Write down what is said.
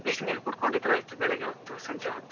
ಬಿಸ್ನಿರು ಕುಡ್ಕೊಂಡಿದ್ರೆ ಆಯ್ತು ಬೆಳಿಗ್ಗೆ ಹೊತ್ತು, ಸಂಜೆ ಹೊತ್ತು.